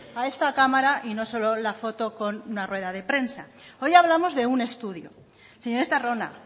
a esta cámara y no solo la foto con una rueda de prensa hoy hablamos de un estudio señor estarrona